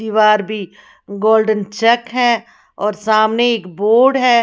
दीवार भी गोल्डन चक है और सामने एक बोर्ड है।